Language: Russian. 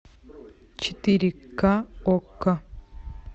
четыре ка окко